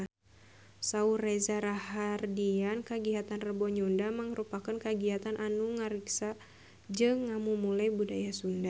Saur Reza Rahardian kagiatan Rebo Nyunda mangrupikeun kagiatan anu ngariksa jeung ngamumule budaya Sunda